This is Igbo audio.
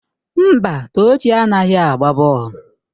Mba, Tochi anaghị agba bọọlụ.